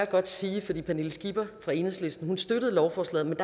godt sige at pernille skipper fra enhedslisten støtter lovforslaget men